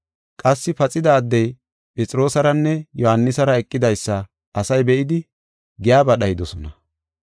Qassi paxida addey Phexroosaranne Yohaanisara eqidaysa asay be7idi giyaba dhayidosona.